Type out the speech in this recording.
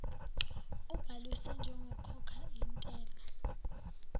ubhalisiwe njengokhokha intela